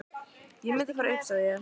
Ég mundi fara upp, sagði ég.